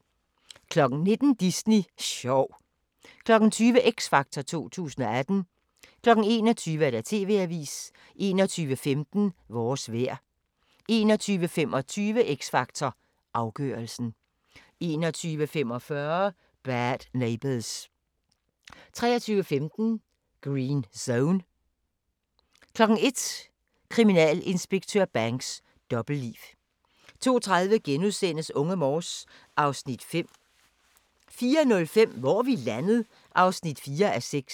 19:00: Disney sjov 20:00: X Factor 2018 21:00: TV-avisen 21:15: Vores vejr 21:25: X Factor Afgørelsen 21:45: Bad Neighbours 23:15: Green Zone 01:00: Kriminalinspektør Banks: Dobbeltliv 02:30: Unge Morse (Afs. 5)* 04:05: Hvor er vi landet? (4:6)